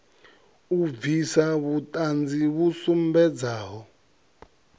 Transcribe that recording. u bvisa vhuṱanzi vhu sumbedzaho